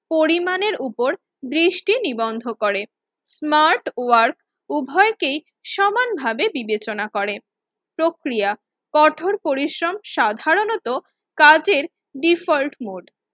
পরিমাণের উপর দৃষ্টি নিবন্ধ করে। স্মার্ট ওয়ার্ক উভয়কেই সমানভাবে বিবেচনা করে। প্রক্রিয়া কঠোর পরিশ্রম সাধারণত কাজের ডিফল্ট মোড